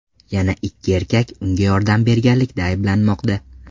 Yana ikki erkak unga yordam berganlikda ayblanmoqda.